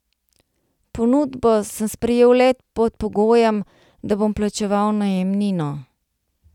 Ponudbo sem sprejel le pod pogojem, da bom plačeval najemnino.